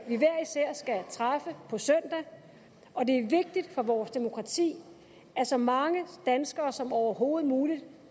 træffe på søndag og det er vigtigt for vores demokrati at så mange danskere som overhovedet muligt